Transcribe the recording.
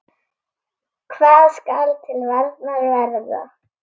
Hvað skal til varnar verða?